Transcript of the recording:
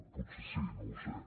potser sí no ho sé